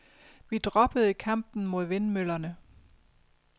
Vi droppede kampen mod vindmøllerne.